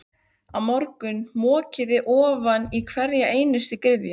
Á morgun mokið þið ofan í hverja einustu gryfju.